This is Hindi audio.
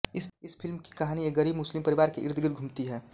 इस फिल्म की कहानी एक गरीब मुस्लिम परिवार के इर्दगिर्द घूमती है